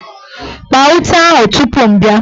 Kpaa ute ahụ tupu m bịa!